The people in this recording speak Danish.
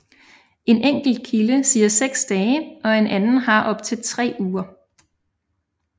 En enkelte kilde siger 6 dage og en anden har op til 3 uger